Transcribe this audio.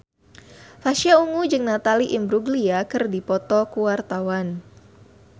Pasha Ungu jeung Natalie Imbruglia keur dipoto ku wartawan